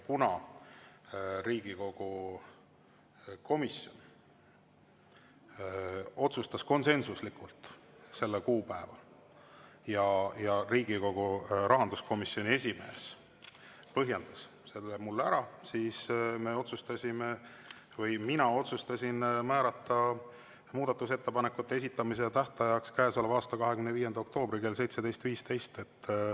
Kuna Riigikogu komisjon otsustas konsensuslikult selle kuupäeva ja Riigikogu rahanduskomisjoni esimees põhjendas selle mulle ära, siis me otsustasime või mina otsustasin määrata muudatusettepanekute esitamise tähtajaks käesoleva aasta 25. oktoobri kell 17.15.